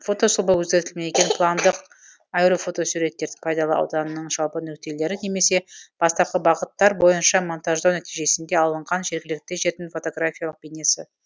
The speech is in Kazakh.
фотосұлба өзгертілмеген пландық аэрофотосуреттердің пайдалы ауданының жалпы нүктелері немесе бастапқы бағыттар бойынша монтаждау нәтижесінде алынған жергілікті жердің фотографиялық бейнесі